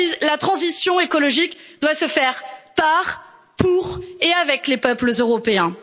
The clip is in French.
La transition écologique doit se faire par, pour et avec les peuples européens.